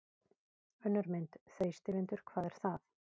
Önnur mynd: Þrýstivindur- hvað er það?